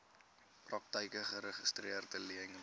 praktyke geregistreede leners